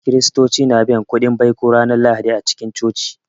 Kiristoci na biyan kuɗin baiko ranar Lahadi a cikin Coci